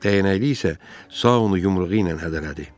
Dəyənəkli isə Sao onu yumruğu ilə hədələdi.